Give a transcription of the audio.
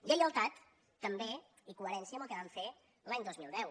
lleialtat també i coherència amb el que van fer l’any dos mil deu